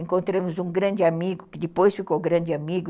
Encontramos um grande amigo, que depois ficou grande amigo,